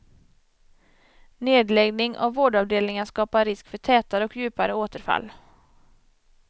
Nedläggning av vårdavdelningar skapar risk för tätare och djupare återfall.